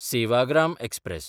Sevagram express